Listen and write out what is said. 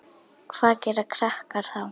Hvað gera krakkar þá?